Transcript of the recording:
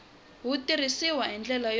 wu tirhisiw hi ndlela yo